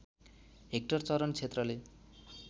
hectare चरण क्षेत्रले